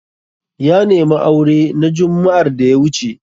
Ya nemi aure na jumma'ar da ya wuce.